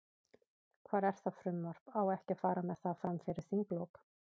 Hvar er það frumvarp, á ekki að fara með það, fram fyrir þinglok?